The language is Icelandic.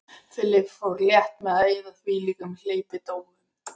Philip fór létt með að eyða þvílíkum hleypidómum.